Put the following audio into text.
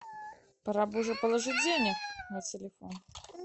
пора бы уже положить денег на телефон